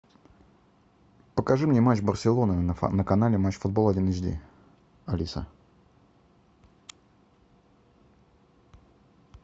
покажи мне матч барселона на канале матч футбол один эйч ди алиса